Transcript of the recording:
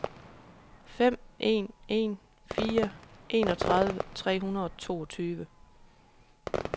fem en en fire enogtredive tre hundrede og toogtyve